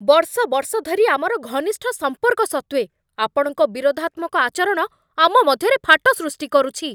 ବର୍ଷ ବର୍ଷ ଧରି ଆମର ଘନିଷ୍ଠ ସମ୍ପର୍କ ସତ୍ତ୍ୱେ ଆପଣଙ୍କ ବିରୋଧାତ୍ମକ ଆଚରଣ ଆମ ମଧ୍ୟରେ ଫାଟ ସୃଷ୍ଟି କରୁଛି।